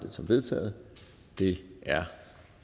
som vedtaget det er